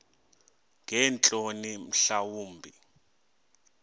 ngeentloni mhla wumbi